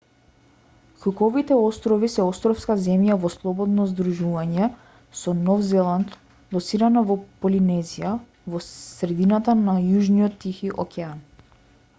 куковите острови се островска земја во слободно здружување со нов зеланд лоцирана во полинезија во средината на јужниот тихи океан